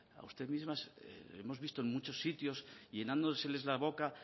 a usted misma hemos visto en muchos sitios llenándoseles la boca